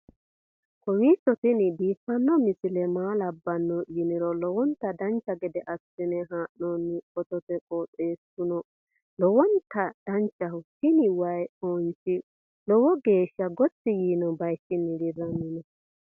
kowiicho tini biiffanno misile maa labbanno yiniro lowonta dancha gede assine haa'noonni foototi qoxeessuno lowonta danachaho. tini wayi foonchi lowogeeshsha gottoi yiino baychinni dirranni no